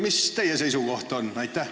Mis teie seisukoht on?